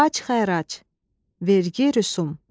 Bacxərac, vergi, rüsum.